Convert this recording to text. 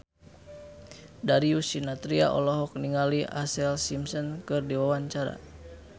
Darius Sinathrya olohok ningali Ashlee Simpson keur diwawancara